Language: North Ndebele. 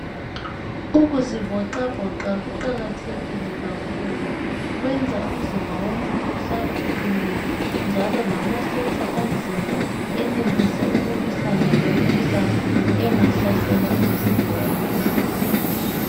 Ukuzivoxavoxa kuqakathekile kakhulu kwenza umzimba womuntu uhlale uqinile njalo lamasotsha omzimba enelise ukulwisane lemikhuhlane engahlasela umzimba womuntu .